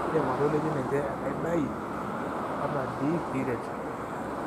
indim atoliki niche enaidai atad piret,